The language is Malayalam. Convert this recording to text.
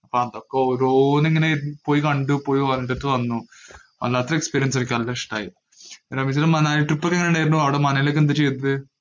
പോയി കണ്ടു. പോയി കണ്ടിട്ട് വന്നു. അതിനകത്തെ experience എനിക്ക് നല്ല ഇഷ്ടായി മനാല trip എങ്ങനെ ഉണ്ടായിരുന്നു. അവിടെ മനാലിയില്‍ എന്താ ചെയ്തത്.